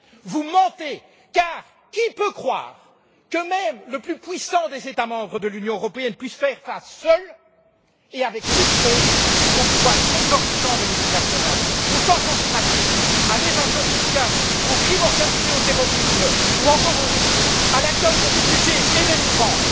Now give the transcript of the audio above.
Vous mentez, car qui peut croire que même le plus puissant des États membres de l'Union européenne puisse faire face seul et avec succès aux pouvoirs exorbitants des multinationales, au changement climatique, à l'évasion fiscale, au crime organisé et au terrorisme ou, encore, à l'accueil des réfugiés et des migrants.